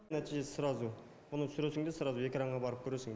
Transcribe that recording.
нәтижесі сразу мұны түсіресің де сразу экранға барып көресің